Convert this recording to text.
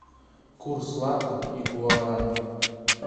курс лата и гуарани